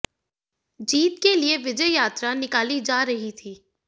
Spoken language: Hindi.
जीत के लिए विजय यात्रा निकाली जा रही थी